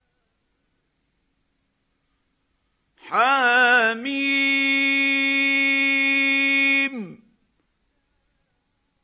حم